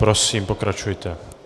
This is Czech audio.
Prosím, pokračujte.